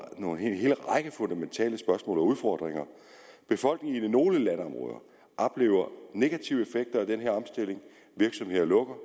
fundamentale spørgsmål og udfordringer befolkningen i nogle landområder oplever negative effekter af den her omstilling virksomheder lukker